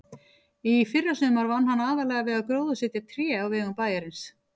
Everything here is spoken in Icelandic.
Í fyrrasumar vann hann aðallega við að gróðursetja tré á vegum bæjarins.